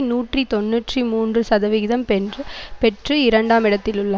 நூற்றி தொன்னூற்றி மூன்று சதவிகிதம் பென்று பெற்று இரண்டாம் இடத்திலுள்ளா